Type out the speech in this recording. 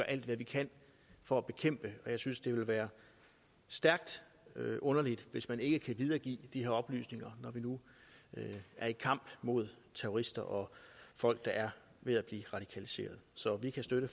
alt hvad vi kan for at bekæmpe og jeg synes det vil være stærkt underligt hvis man ikke kan videregive de her oplysninger når vi nu er i kamp mod terrorister og folk der er ved at blive radikaliseret så vi kan støtte